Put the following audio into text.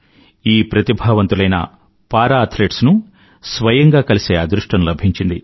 ఈ ప్రతిభావంతులైన para athletes ను స్వయంగా కలిసే అదృష్టం లభించింది